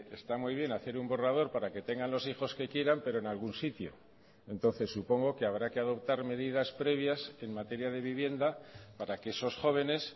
está muy bien hacer un borrador para que tengan los hijos que quieran pero en algún sitio entonces supongo que habrá que adoptar medidas previas en materia de vivienda para que esos jóvenes